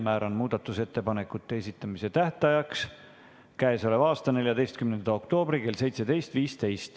Määran muudatusettepanekute esitamise tähtajaks k.a 14. oktoobri kell 17.15.